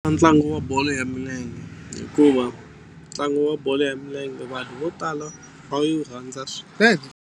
Ntlangu wa bolo ya milenge hikuva ntlangu wa bolo ya milenge vanhu vo tala va yi rhandza swinene.